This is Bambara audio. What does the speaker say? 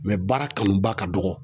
baara kanubaa ka dɔgɔ.